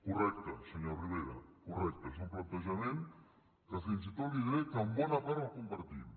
correcte senyor rivera correcte és un plantejament que fins i tot li diré que en bona part el compartim